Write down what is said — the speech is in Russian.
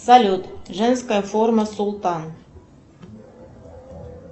салют женская форма султан